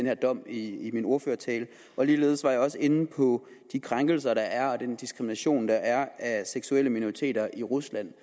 her dom i i min ordførertale og ligeledes var jeg også inde på de krænkelser der er og på den diskrimination der er af seksuelle minoriteter i rusland